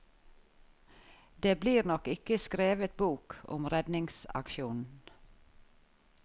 Det blir nok ikke skrevet bok om redningsaksjonen.